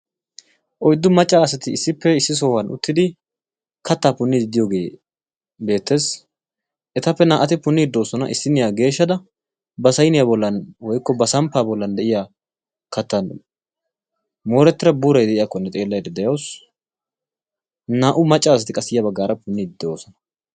oyddu macca asati issippe issi sohuwan uttidi kattaa punide de'iyooge beettees; etappe naa''ati puundde de'oosona issiniyaa mooretida buuray de'iyyakkone xeelaydda de'awus naa''u macca asati qasi punnide de'oosona.